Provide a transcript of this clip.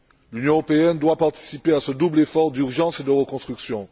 L'Union européenne doit participer à ce double effort d'urgence et de reconstruction.